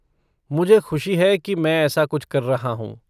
मुझे ख़ुशी है कि मैं ऐसा कुछ कर रहा हूँ।